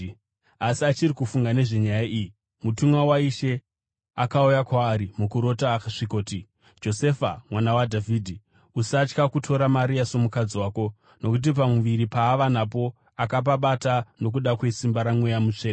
Asi achiri kufunga nezvenyaya iyi, mutumwa waIshe akauya kwaari mukurota akasvikoti, “Josefa, mwana waDhavhidhi, usatya kutora Maria somukadzi wako nokuti pamuviri paava napo akapabata nokuda kwesimba raMweya Mutsvene.